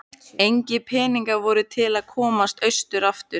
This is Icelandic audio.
Engir peningar voru til að komast austur aftur.